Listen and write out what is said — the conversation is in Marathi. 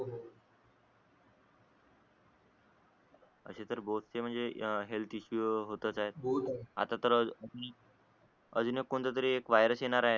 असे तर म्हणजे हेल्थ इशु होतच आहेत आहेत आता तर अजून एक कोणता तरी वायरस येणार आहे